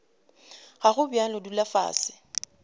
ga go bjalo dula fase